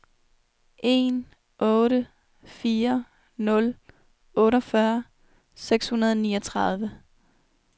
en otte fire nul otteogfyrre seks hundrede og niogtredive